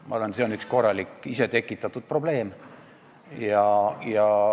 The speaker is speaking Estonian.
Ma arvan, et see on üks korralik ise tekitatud probleem.